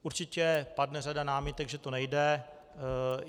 Určitě padne řada námitek, že to nejde.